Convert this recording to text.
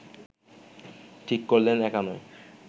ঠিক করলেন একা নয়